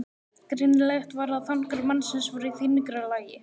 Greinilegt var að þankar mannsins voru í þyngra lagi.